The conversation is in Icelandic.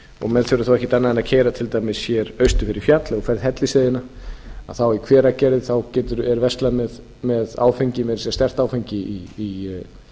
og menn þurfi þá ekkert annað en keyra til dæmis austur fyrir fjall hellisheiðina og í hveragerði þá er verslað með áfengi meira að segja sterkt áfengi í